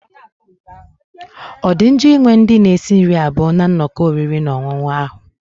Ọ dị njọ ịnwe ndị na-esi nri abụọ na nnọkọ oriri na ọṅụṅụ ahu?